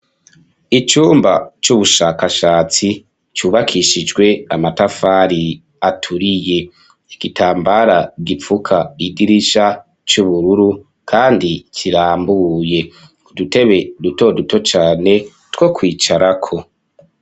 Icumba, c'ubushakashatsi, cubakishijwe amatafari, aturiye; igitambara gipfuka idirisha, c'ubururu, kandi kirambuye; udutebe duto duto cane, two kwicarako.